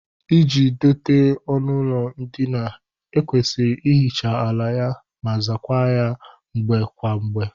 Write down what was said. Iji dote ọnụụlọ ndina, e kwesịrị ihicha ala ya ma zaakwa ya kwa mgbe kwa mgbe